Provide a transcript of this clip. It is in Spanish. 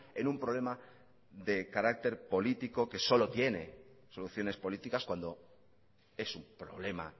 en un problema de carácter político que solo tiene soluciones políticas cuando es un problema